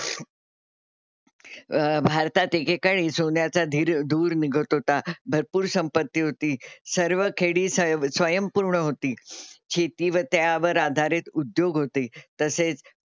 अह भारतात एकेकाळी सोन्याचा धीर धूर निघत होता, भरपूर संपत्ती होती. सर्व खेडी सयं स्वयंपूर्ण होती. शेती व त्यावर आधारित उद्योग होते. तसेच,